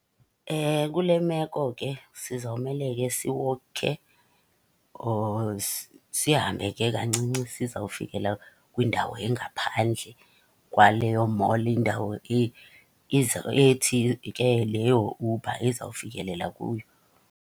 Kule meko ke sizawumele ke siwokhe or sihambe ke kancinci sizawufikelela kwindawo engaphandle kwaleyo mall, indawo ethi ke leyo Uber ezawufikelela kuyo.